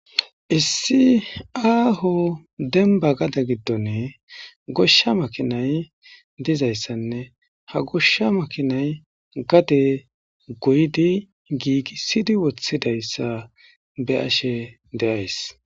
issi aaho demba gada giddone goshsha makinay dizayssanne ha goshsha makinay gade goydi giigisidi woththidayssa be ashe deays